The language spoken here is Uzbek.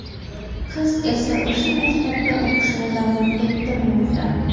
Qiz esa o‘sha maktabda o‘qishini davom ettirmoqda.